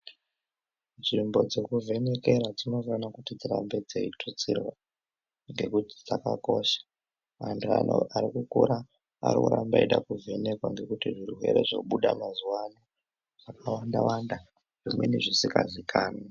Nzvimbo dzekuvhenekera dzinofanira kuti dzirambe dziyitutsirwa ngekuti dzakakosha vantu varikukura varikurambe veyida kuvhenekwa nekuti zvirwere zvobuda mazuva ano zvakawanda wanda zvinenge zvisingaziikanwi.